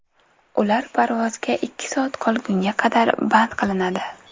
Ular parvozga ikki soat qolgunga qadar band qilinadi.